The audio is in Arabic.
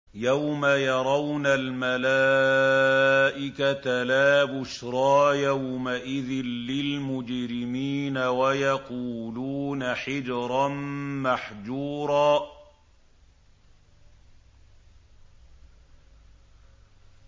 يَوْمَ يَرَوْنَ الْمَلَائِكَةَ لَا بُشْرَىٰ يَوْمَئِذٍ لِّلْمُجْرِمِينَ وَيَقُولُونَ حِجْرًا مَّحْجُورًا